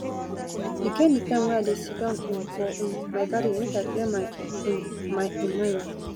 e get di time wey i dey siddon um for um my garden make i clear my um my um mind